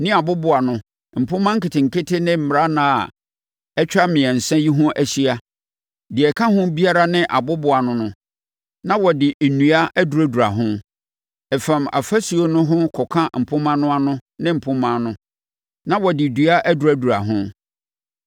ne aboboano, mpomma nketenkete ne mmarannaa a atwa mmiɛnsa yi ho ahyia, deɛ ɛka ho biara ne aboboano no, na wɔde nnua aduradura ho. Ɛfam afasuo no ho kɔka mpomma no ano ne mpomma no, na wɔde dua aduradura ho.